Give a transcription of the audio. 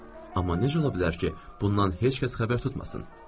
Amma necə ola bilər ki, bundan heç kəs xəbər tutmasın?